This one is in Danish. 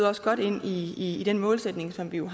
også godt ind i i den målsætning som vi jo